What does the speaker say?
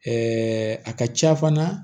Ɛɛ a ka ca fana